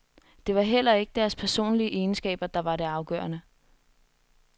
Det var heller ikke deres personlige egenskaber, der var det afgørende.